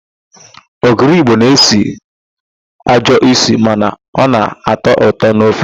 Ogiri Igbo na-esi ajọ ísì mana ọ na-atọ ụtọ n'ofe.